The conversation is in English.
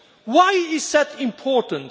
Why is that important?